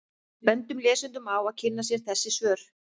Við bendum lesendum á að kynna sér þessi svör.